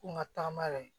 Ko n ka tagama yɛrɛ